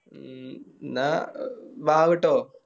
ഉം എന്ന ബാ കേട്ടോ